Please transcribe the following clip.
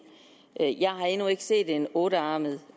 jeg har endnu ikke set en ottearmet